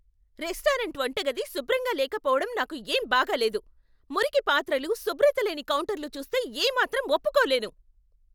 Restaurant వంటగది శుభ్రంగా లేకపోవడం నాకు ఏం బాగా లేదు. మురికి పాత్రలు, శుభ్రత లేని కౌంటర్లు చూస్తే ఏమాత్రం ఒప్పుకోలేను.